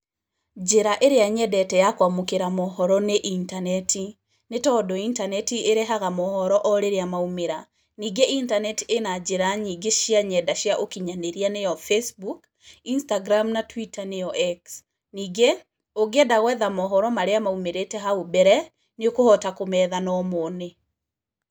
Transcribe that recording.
Njĩra ĩrĩa nyendete ya kũamũkĩra mohoro nĩ intaneti, nĩ tondũ intaneti ĩrehaga mohoro o rĩria maumĩra, ningĩ intaneti ĩna njĩra nyĩngĩ cia nyenda cia ũkinyanĩria nĩyo Facebook, Instagram na Twitter nĩyo X. Ningĩ, ũngĩenda gwetha mohoro marĩa maumĩrĩte hau mbere, nĩ ũkũhota kũmetha na ũmone.